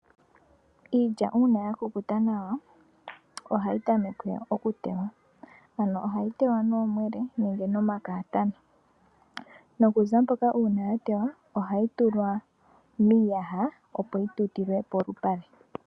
Iilya uuna ya kukuta nawa ohayi tameke okutewa. Ano ohayi tewa noomwele nenge nomakatana. Nokuza mpoka uuna ya tewa ohayi tulwa miiyaha opo yi yutilwe polupale.